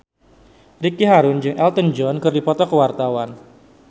Ricky Harun jeung Elton John keur dipoto ku wartawan